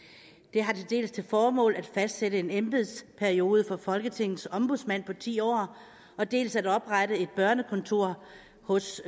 det har dels til formål at fastsætte en embedsperiode for folketingets ombudsmand på ti år dels at oprette et børnekontor hos